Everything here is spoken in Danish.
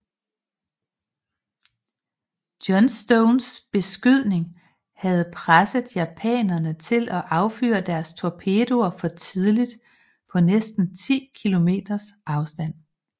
Johnstons beskydning havde presset japanerne til at affyre deres torpedoer for tidligt på næsten 10 km afstand